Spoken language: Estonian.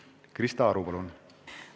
Krista Aru, palun!